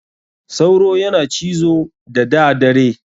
Sauro yana cizo da da dare.